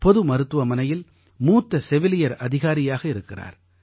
பொது மருத்துவமனையில் மூத்த செவிலியர் அதிகாரியாக இருக்கிறார்